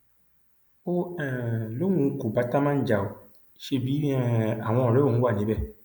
ó um lóun kò bá támán jà ó ṣẹbi um àwọn ọrẹ òun wà níbẹ